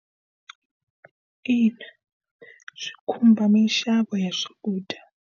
Ina, swi khumba minxavo ya swakudya.